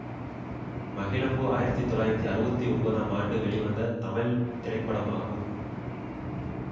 மகிழம்பூ ஆயிரத்தி தொள்ளாயிரத்தி அறுபத்தி ஒன்பதாம் ஆண்டு வெளிவந்த தமிழ் திரைப்படமாகும்